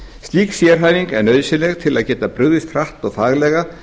slík sérhæfing sé nauðsynleg til að geta brugðist hratt og faglega